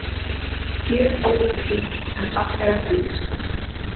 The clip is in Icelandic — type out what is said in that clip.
Gjörónýtur bíll en farþegar lítið slasaðir